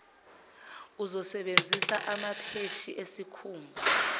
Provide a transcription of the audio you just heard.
uzosebenzisa amapheshi esikhumba